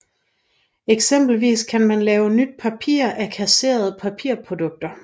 Eksempelvis kan man lave nyt papir af kasserede papirprodukter